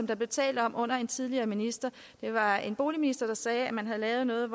der blev talt om under en tidligere minister det var en boligminister der sagde at man havde lavet noget